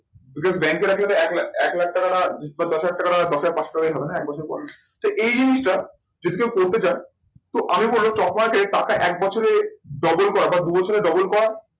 ব্যাংকে রাখলে তো এক লাখ এক লাখ টাকাটা দশ হাজার টাকাটা দশ হাজার পাঁচশ টাকাই হবে না এক বছর পর। তো এই জিনিসটা যদি কেউ করতে চায়, তো আমি বলবো stock market এ পাক্কা এক বছরে double করা বা দু বছরে double করা